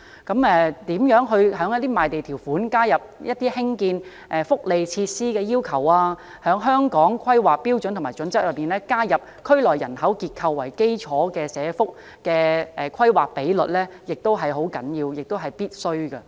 在賣地條款中加入興建福利設施的要求，在《香港規劃標準與準則》中加入以區內人口結構為基礎的社區服務規劃比率，是十分重要及必須的。